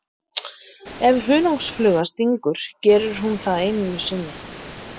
Ef hunangsfluga stingur gerir hún það aðeins einu sinni.